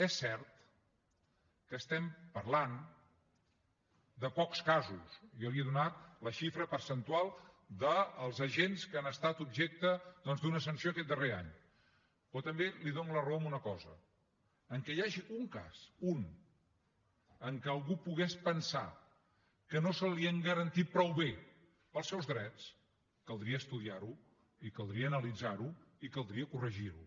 és cert que estem parlant de pocs casos jo li he donat la xifra percentual dels agents que han estat objecte doncs d’una sanció aquest darrer any però també li dono la raó en una cosa només que hi hagi un cas un que algú pogués pensar que no se li han garantit prou bé els seus drets caldria estudiar lo i caldria analitzar lo i caldria corregir lo